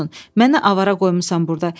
Məni avara qoymusan burda.